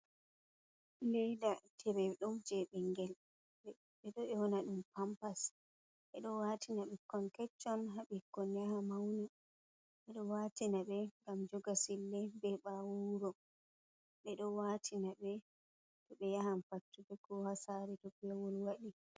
leyda tireɗum je bingel ɓeɗo 'yona ɗum pampas. Ɓe ɗo watina ɓukkon keccon, ha ɓukkon yaha mauna. Ɓeɗo watina ɓe gam joga sille, ɓe ɓawo wuro. Ɓe ɗo watina ɓe toɓe yahan fattude, ko ha sare to pewol waɗi.